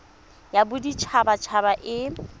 ya bodit habat haba e